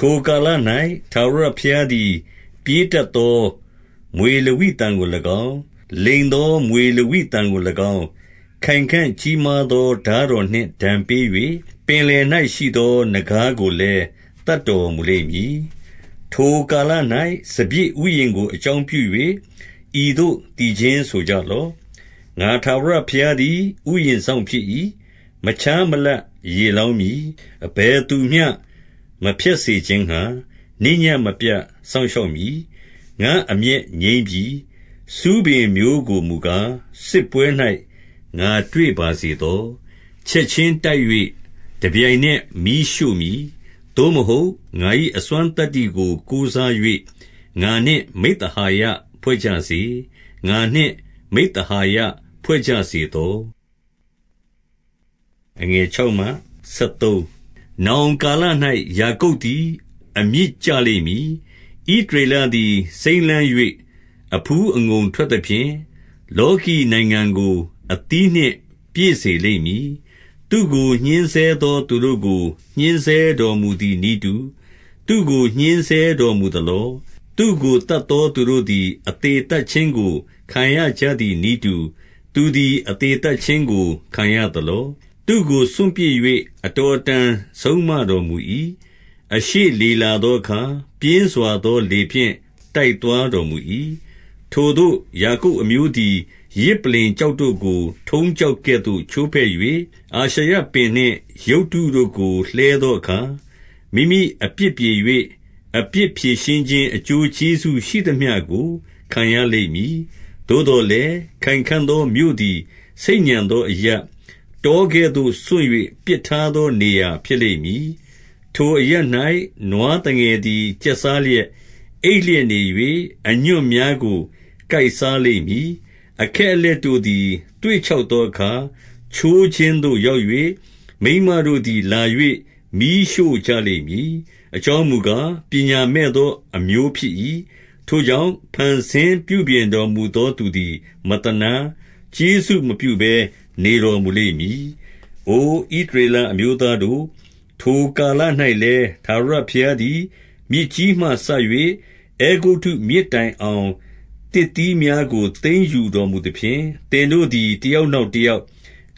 ထိုကာလ၌ ထာဝရဘုရားသည် ပြေးတက်သော မြွေလဝိသန် ကို၎င်း၊ လိမ်သောမြွေလဝိသန်ကို၎င်း ခိုင်ခံ့ ကြီးမားသော ထားတော်နှင့် ဒဏ်ပေး၍၊ ပင်လယ်၌ ရှိသော နဂါးကိုလည်း သတ်တော်မူလိမ့်မည်။ 2 ထိုကာလ၌ စပျစ်ဥယျာဉ်ကို အကြောင်းပြု၍၊ ဤသို့ သီချင်းဆိုကြလော့။ 3 ငါထာဝရဘုရားသည် ဥယျာဉ်စောင့်ဖြစ်၏။ မ ခြားမလပ်ရေလောင်းမည်။ အဘယ်သူမျှ မဖျက်စေခြင်း ငှါ၊ နေ့ညဉ့်မပြတ် စောင့်ရှောက်မည်။ 4 ငါ့အမျက်ငြိမ်းပြီ။ ဆူးပင်မျိုးကိုမူကား၊ စစ်ပွဲ၌ ငါတွေ့ပါစေသော။ချက်ချင်းတိုက်၍ တပြိုင်နက်မီးရှို့ မည်။ 5 သို့မဟုတ် ငါ၏အစွမ်းသတ္တိကို ကိုးစား၍၊ငါနှင့် မိဿဟာယ ဖွဲ့ကြစေ။ ငါနှင့် မိဿဟာယ ဖွဲ့ကြစေ သော။ 6 နောင်ကာလ၌ ယာကုပ်သည် အမြစ်ကျလိမ့် မည်။ ဣသရေလသည် စိမ်းလန်း၍ အဖူးအငုံ ထွက်သ ဖြင့်၊ လောကီနိုင်ငံကို အသီးနှင့် ပြည့်စေလိမ့်မည်။ 7 သူ့ကိုညှဉ်းဆဲသောသူတို့ကို ညှဉ်းဆဲတော်မူသည် နည်းတူ၊ သူ့ကို ညှဉ်းဆဲတော်မူသလော။ သူ့ကိုသတ်သော သူတို့သည် အသေသတ်ခြင်းကို ခံရကြသည်နည်းတူ၊ သူ သည်အသေသတ်ခြင်းကို ခံရသလော။ 8 သူ့ကို စွန့်ပစ်၍ အတော်အတန် ဆုံးမတော်မူ ၏။ အရှေ့လေလာသောအခါ၊ ပြင်းစွာသောလေဖြင့် တိုက်သွားတော်မူ၏။ 9 ထိုသို့ယာကုပ်အမျိုးသည် ယဇ်ပလ္လင်ကျောက်တို့ ကို ထုံးကျောက်ကဲ့သို့ ချိုးဖဲ့၍၊အာရှရပင်နှင့် ရုပ်တုတို့ကို လှဲသောအခါ၊ မိမိအပြစ်ပြေ၍၊ အပြစ်ပြေရှင်းခြင်း အ ကျိုးကျေးဇူးရှိသမျှကို ခံရလိမ့်မည်။ 10 သို့သော်လည်း၊ ခိုင်ခံ့သောမြို့သည်၊ ဆိတ်ညံ သောအရပ်၊ တောကဲ့သို့ စွန့်၍ ပစ်ထားသောနေရာဖြစ် လိမ့်မည်။ ထိုအရပ်၌ နွားသငယ်သည် ကျက်စားလျက်၊ အိပ်လျက်နေ၍၊ အညွန့်များကို ကိုက်စားလိမ့်မည်။ 11 အခက်အလက်တို့သည် သွေ့ခြောက်သောအခါ ချိုးခြင်းသို့ရောက်၍၊ မိန်းမတို့သည် လာ၍မီးရှို့ကြလိမ့် မည်။ အကြောင်းမူကား၊ ပညာမဲ့သောအမျိုးဖြစ်၏။ ထို့ ကြောင့်၊ဖန်ဆင်းပြုပြင်တော်မူသောသူသည် မသနား၊ ကျေးဇူးမပြုဘဲ နေတော်မူလိမ့်မည်။ 12 အိုဣသရေလ အမျိုးသားတို့၊ ထိုကာလ၌လည်း၊ ထာဝရဘုရားသည် မြစ်ကြီးမှစ၍၊ အဲဂုတ္တုမြစ်တိုင်အောင် သစ်သီးများကို သိမ်းယူတော်မူသဖြင့်၊ သင်တို့သည် တ ယောက်နောက် တယောက်၊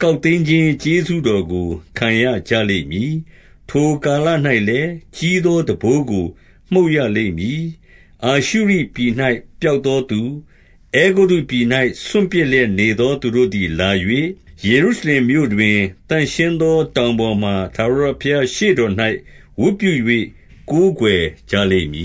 ကောက်သိမ်းခြင်း ကျေးဇူး တော်ကို ခံရကြလိမ့်မည်။ 13 ထိုကာလ၌လည်း၊ ကြီးသောတံပိုးကို မှုတ်ရလိမ့် မည်။ အာရှုရိပြည်၌ပျောက်သောသူ၊ အဲဂုတ္တုပြည်၌ စွန့် ပစ်သောသူတို့သည်လာ၍၊ယေရုရှလင်မြို့တွင်၊သန့်ရှင်းသော တောင်ပေါ်မှာ ထာဝရဘုရားရှေ့တော်၌ ဝတ်ပြု၍ ကိုး ကွယ်ကြလိမ့်မည